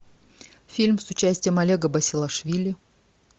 фильм с участием олега басилашвили